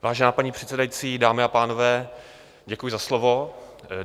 Vážená paní předsedající, dámy a pánové, děkuji za slovo.